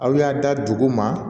Aw y'a da dugu ma